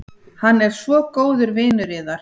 Hann er svo góður vinur yðar.